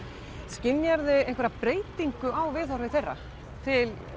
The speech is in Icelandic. skynjar þú einhverja breytingu á viðhorfi þeirra til